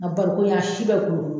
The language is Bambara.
A barikon in a si bɛ